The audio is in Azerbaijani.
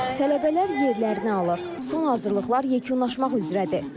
Son hazırlıqlar yekunlaşmaq üzrədir.